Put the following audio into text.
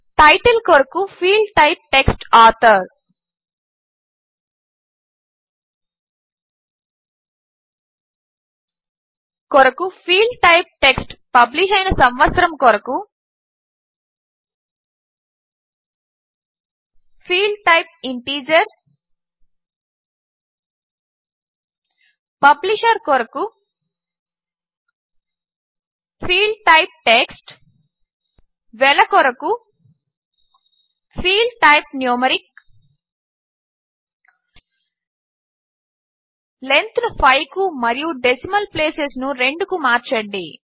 title కొరకు field type text author కొరకు field type text publish అయిన సంవత్సరము కొరకు ఫీల్డ్టైప్ ఇంటీజర్ పబ్లిషర్ కొరకు ఫీల్డ్టైప్ టెక్స్ట్ వెల కొరకు ఫీల్డ్టైప్ న్యూమరిక్ లెంగ్త్ ను 5 కు మరియు డెసిమల్ ప్లేసెస్ను 2 మార్చండి